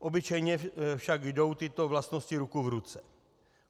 Obyčejně však jdou tyto vlastnosti ruku v ruce.